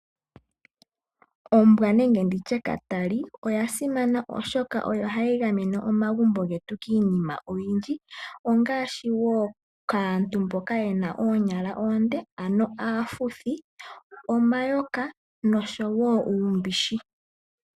Ombwa nenge nditye katali oyasimana oshoka oyo hayigamene omagumbo getu kiinima oyindji ongaashi woo kaantu mboka yena oonyala oonde ano aafuthi, omayoka noshowoo uumbishi.